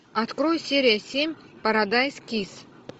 открой серия семь парадайз кисс